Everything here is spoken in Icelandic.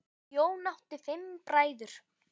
Jón átti fimm bræður.